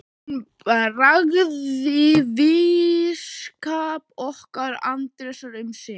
Hún bjargaði vinskap okkar Arndísar um sinn.